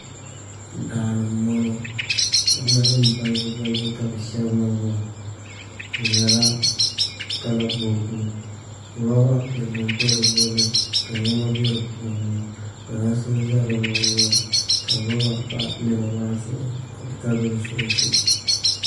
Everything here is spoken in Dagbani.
Daani n bɔŋɔ namda nim balibu balibu ka bi shɛbi niŋ ŋɔ di nyɛla kala bobgu roba piɛlli do di gbuni ka niɛma bɛ di puuni kpalansi n ʒɛ di luɣuli ni ŋɔ ka roba pa niɛma maa zuɣu ka bi tabili li solɛtɛp